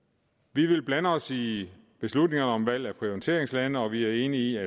vi vil blande os i beslutningerne om valg af prioriteringslande og vi er enige